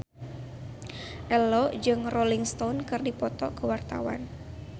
Ello jeung Rolling Stone keur dipoto ku wartawan